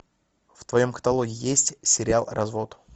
в твоем каталоге есть сериал развод